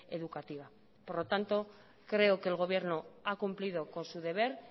educativa por lo tanto creo que el gobierno ha cumplido con su deber